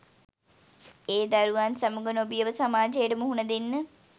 ඒ දරුවන් සමග නොබියව සමාජයට මුහුණ දෙන්න